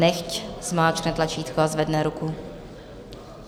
Nechť zmáčkne tlačítko a zvedne ruku.